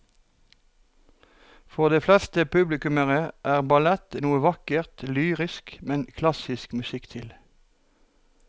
For de fleste publikummere er ballett noe vakkert og lyrisk med klassisk musikk til.